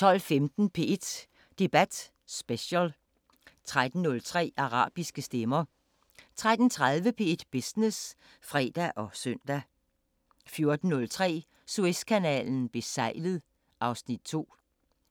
12:15: P1 Debat Special 13:03: Arabiske Stemmer 13:30: P1 Business (fre og søn) 14:03: Suezkanalen besejlet (Afs. 2)